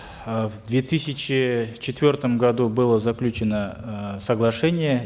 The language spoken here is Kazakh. э в две тысячи четвертом году было заключено э соглашение